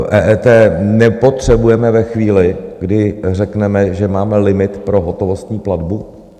EET nepotřebujeme ve chvíli, kdy řekneme, že máme limit pro hotovostní platbu.